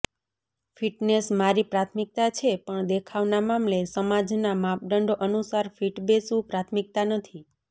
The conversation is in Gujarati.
ફિટનેસ મારી પ્રાથમિકતા છે પણ દેખાવના મામલે સમાજના માપદંડો અનુસાર ફિટ બેસવું પ્રાથમિકતા નથી